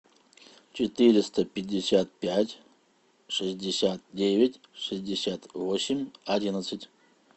четыреста пятьдесят пять шестьдесят девять шестьдесят восемь одиннадцать